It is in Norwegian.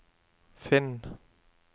finn